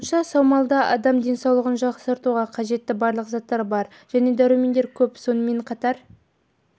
айтуынша саумалда адам денсаулығын жақсартуға қажетті барлық заттар бар және дәрумендері көп сонымен қатар